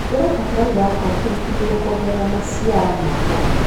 Hũthira bataraitha ya composti nĩguo kuongerera maciaro ma kũgetha.